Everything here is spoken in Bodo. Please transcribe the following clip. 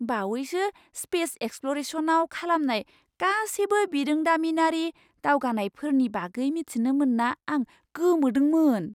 बावैसो स्पेस एक्सप्ल'रेसनआव खालामनाय गासैबो बिरोंदामिनारि दावगानायफोरनि बागै मिथिनो मोनना आं गोमोदोंमोन!